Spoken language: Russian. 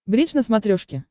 бридж на смотрешке